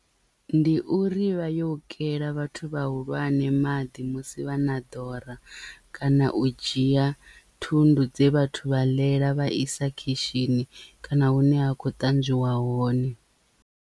Ndi uri vha yo kela vhathu vhahulwane maḓi musi vha na ḓora kana u dzhia thundu dze vhathu vha ḽela vha isa khishini kana hune ha khou ṱanzwiwa hone.